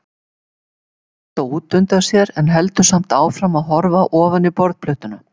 Hann sér þetta útundan sér en heldur samt áfram að horfa ofan í borðplötuna.